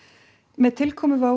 með tilkomu